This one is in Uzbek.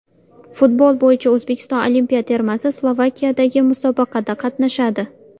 Futbol bo‘yicha O‘zbekiston olimpiya termasi Slovakiyadagi musobaqada qatnashadi.